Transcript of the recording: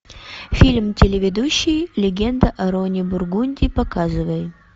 фильм телеведущий легенда о роне бургунди показывай